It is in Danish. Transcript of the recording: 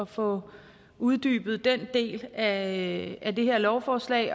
få uddybet den del af det her lovforslag